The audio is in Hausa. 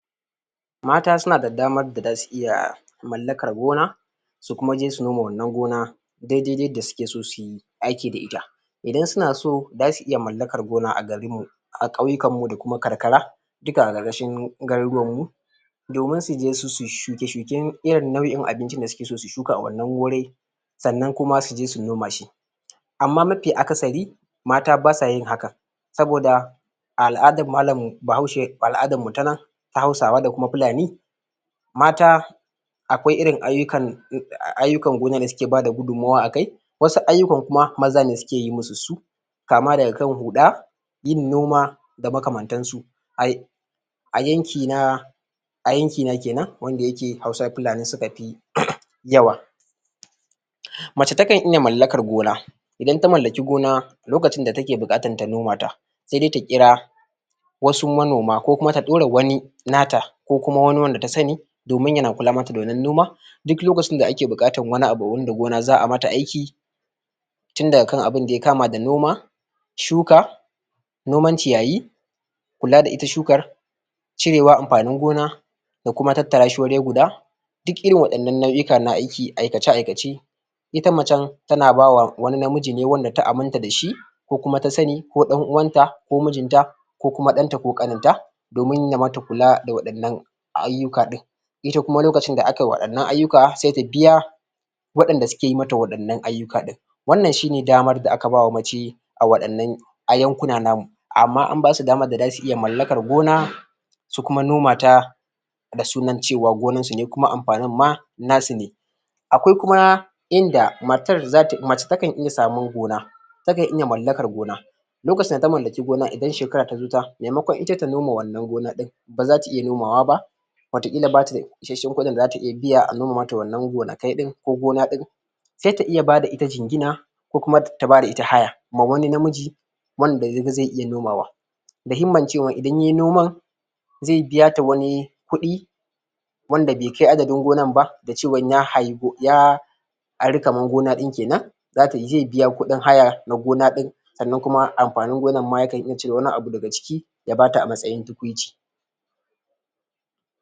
mata suna da damar da zasu iya mallakar gona su kuma je su noma wannan gona daidai yadda suke so suyi aiki da ita idan suna so zasu iya mallakar gona a garinmu a kauyikar mu da kuma karkara duka a karkashin garurruwanmu domin suje su shuke shuke irin nau'in abincin da suke so su shuka a wannan wurin sannan kuma suje su noma shi amma mafi akasari mata basa yin haka saboda a al'adan mallam bahaushe al'adanmu na nan ta hausawa da fulani mata akwai irin ayyukan gona da suke bada gudunmawa akai wasu ayyukan kuma maza ne suke yin masu su kama daga kan huda yin noma da makaman tan su ay a yanki na a yankina kenan wanda yake hausa fulani sula fi yawa mace ta kan iya mallakan gona idan ta mallaki gona lokacin da take bukatan ta noma ta sai dai ta kira wasu manoma ko kuma ta dora wani nata ko kuma wani wanda ta sani domin yana kula mata da wannan noma duk lokacin da ake bukatan wani abu wanda gona zaa iya mata aiki tunda ga kan abun da ya kama da noma shuka noman ciyayi kula da ita shukan cire amfanin gona ko kuma tattarashi wuri guda duk irin wannan nau'ika na aiki da aikace aikace ita macen tana bawa wani namiji ne wanda ta aminta dashi ko kuma tasani ko dan uwanta ko mijinta ko kuma danta ko kaninta domin ya mata kula da wadannan ayyuka din ita kuma lokacin da akayi wadannan ayyuka sai ta biya wadanda suke yi mata wadannan ayyuka din wannan shine damar da aka ba mace a wadannan a yankuna namu amma an basu damar da zasu iya mallakar gona su kuma noma ta da sunan cewa gonansu ne da kuma amfanin ma nasu ne akwai kuma inda inda matar zata mace ta kan iya samun gona ta kan iya mallakan gona lokacin da ta mallaki gona idan shekara ta zuta maimakon ita ta noma wannan gona din baza ta iya noma wa ba wato kila bata da isasshen kudin da zata iya biya a noma mata wannan gonakai ko gona din sai ta iya b ada ita jinjina ko kuma ta bada ita haya ma wani namiji wanda yaga zai iya nomawa da himman cewa idan yayi noman zai biyata wani kudi wanda be kai adadin gonan ba da cewan ya ari gonan din kenan da ze biya kudin haya na gona din sannan kuma amfanin gonan ma ya kan iya cire wani abu daga ciki ya bata a matsayin tukuici